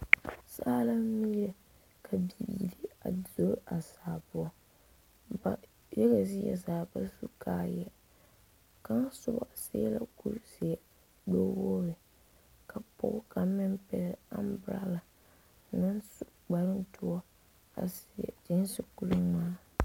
Saa la miire ka biire a be a saa poɔ ba yaga zie zaa ba su kaayɛɛ kaŋ sobɔ seɛ la kurizeɛ gbɛwogre ka pɔɔ kaŋ meŋ pɛgle ambrala meŋ su kparoŋdoɔ a seɛ gyeese kuringmaa.